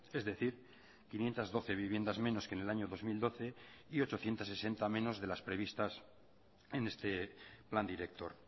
es decir quinientos doce viviendas menos que en el año dos mil doce y ochocientos sesenta menos de las previstas en este plan director